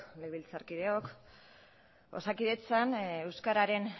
legebiltzarkideok osakidetzan euskararen